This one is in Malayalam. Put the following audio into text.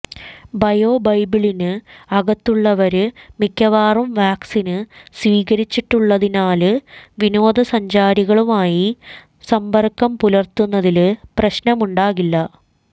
ബയോ ബബിളിന് അകത്തുള്ളവര് മിക്കവാറും വാക്സിന് സ്വീകരിച്ചിട്ടുള്ളതിനാല് വിനോദസഞ്ചാരികളുമായി സമ്ബര്ക്കം പുലര്ത്തുന്നതില് പ്രശ്നമുണ്ടാകില്ല